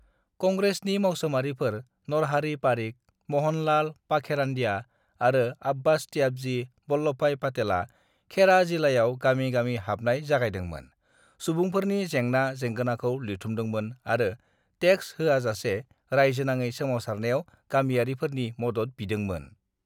"कंग्रेसनि मावसोमारिफर नरहारि पारिख, महनलाल पाखेड़ानदया, आरो आब्बास त्याबजि, वल्लभभाई पाटेला खेड़ा जिलायाव गामि-गामि हाबनाय जागायदोंमोन, सुबुंफोरनि जेंना-जेंगोनाखौ लिरथुमदोंमोन आरो टेक्स होआजासे रायजोनाङै सोमावसारनायाव गामिआरिफोरनि मदद बिदोंमोन।"